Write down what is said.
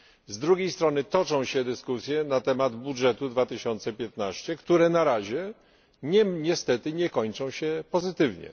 Z drugiej strony toczą się dyskusje na temat budżetu 2015, które na razie niestety nie kończą się pozytywnie.